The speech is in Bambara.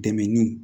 Dɛmɛni